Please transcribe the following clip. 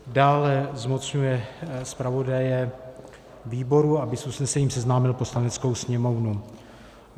Dále zmocňuje zpravodaje výboru, aby s usnesením seznámil Poslaneckou sněmovnu.